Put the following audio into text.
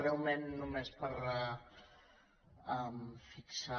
breument només per fixar